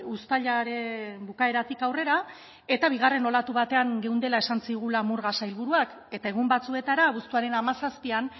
uztailaren bukaeratik aurrera eta bigarren olatu batean geundela esan zigula murga sailburuak eta egun batzuetara abuztuaren hamazazpian